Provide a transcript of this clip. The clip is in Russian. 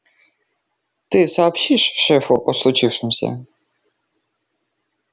ты сообщишь шефу о случившемся